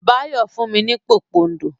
Báyọ̀ fún mi ní pòpondò.